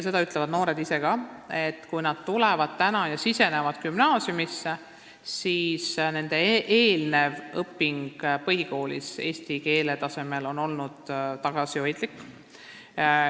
Seda ütlevad noored ise ka, et kui nad astuvad täna gümnaasiumisse, siis nende eelnevad eesti keele õpingud põhikoolis on olnud tagasihoidlikud.